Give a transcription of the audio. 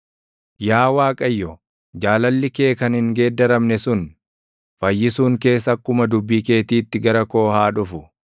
Yaa Waaqayyo, jaalalli kee kan hin geeddaramne sun, fayyisuun kees akkuma dubbii keetiitti gara koo haa dhufu;